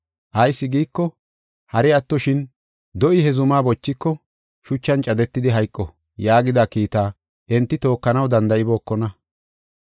Ayis giiko, “Hari attoshin, do7i he zumaa bochiko, shuchan cadetidi hayqo” yaagida kiitaa enti tookanaw danda7ibookona.